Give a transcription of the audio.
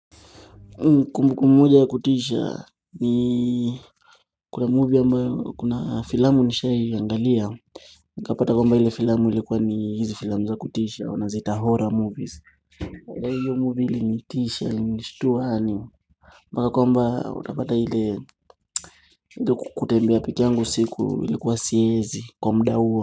Kumbu kumbu ya kutisha ni Kuna movie ambayo kuna filamu nishai angalia nikapata kwamba hile filamu ilikuwa ni hizi filamu za kutisha wanaziita horror movies ila hiyo movie ilinitisha ilishitua hani Mbaka kwamba utapata ile kutembea peke yangu usiku ilikuwa siezi kwa muda huo.